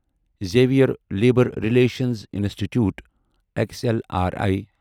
Xavier labour relations institute X L R I